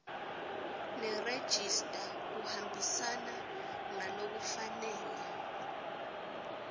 nerejista kuhambisana ngalokufanele